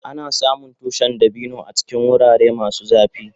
Ana samun tushin dabino a cikin wurare masu zafi.